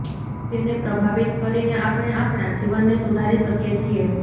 તેને પ્રભાવિત કરીને આપણે આપણા જીવનને સુધારી શકીએ છીએ